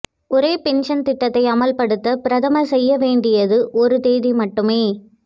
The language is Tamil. ஒரே பென்ஷன் திட்டத்தை அமல்படுத்த பிரதமர் செய்யவேண்டியது ஒரு தேதி மட்டுமே